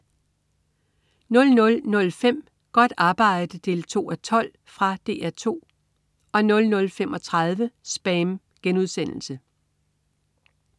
00.05 Godt arbejde 2:12. Fra DR 2 00.35 SPAM*